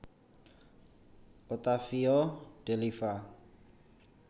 Ottavio De Liva